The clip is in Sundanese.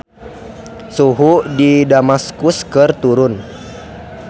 Suhu di Damaskus keur turun